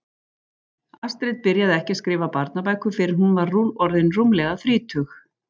Astrid byrjaði ekki að skrifa barnabækur fyrr en hún var orðin rúmlega þrítug.